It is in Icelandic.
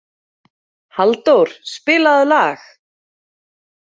Halldór, spilaðu lag.